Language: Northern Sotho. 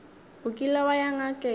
o kile wa ya ngakeng